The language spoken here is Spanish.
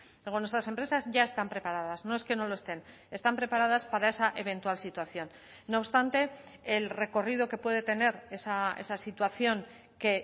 luego nuestras empresas ya están preparadas no es que no lo estén están preparadas para esa eventual situación no obstante el recorrido que puede tener esa situación que